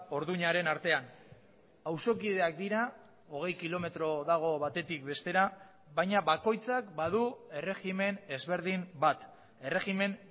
orduñaren artean auzokideak dira hogei kilometro dago batetik bestera baina bakoitzak badu erregimen ezberdin bat erregimen